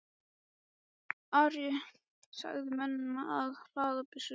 Ari sagði mönnunum að hlaða byssurnar.